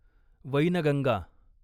Wainganga